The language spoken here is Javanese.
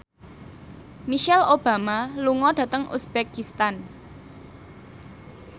Michelle Obama lunga dhateng uzbekistan